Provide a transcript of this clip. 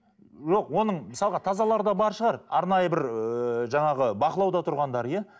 оның мысалға тазалары да бар шығар арнайы бір ыыы жаңағы бақылауда тұрғандар иә